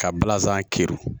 Ka balanzan kiri